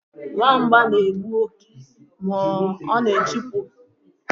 Nwamba na-egbu òké ma na-chụpụ kwa agwọ.